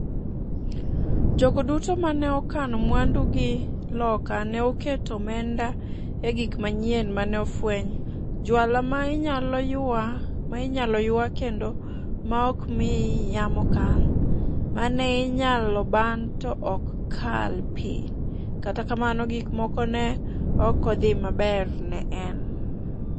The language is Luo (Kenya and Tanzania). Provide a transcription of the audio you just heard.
Jogo duto ma ne okano mwandu gi loka ne oketo omenda e gik manyien ma ne ofweny - jwala ma inyalo ywa kendo ma ok mi yamo kal, mane inyalo ban to ok kal pi - kata kamano gik moko ne ok dhi maber ne en.